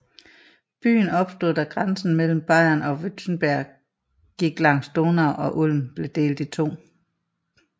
Byen opstod da grænsen mellem Bayern og Württemberg gik langs Donau og Ulm blev delt i to